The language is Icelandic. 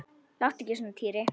Láttu ekki svona Týri.